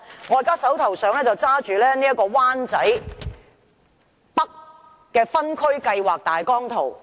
我手邊拿着灣仔北的分區計劃大綱圖。